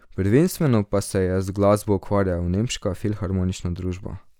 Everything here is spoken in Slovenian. Prvenstveno pa se je z glasbo ukvarjala nemška Filharmonična družba.